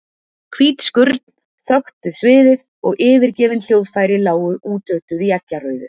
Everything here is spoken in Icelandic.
Hvít skurn þöktu sviðið og yfirgefin hljóðfæri lágu útötuð í eggjarauðu.